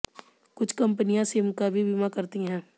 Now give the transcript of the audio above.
कुछ कंपनियां सिम का भी बीमा करती हैं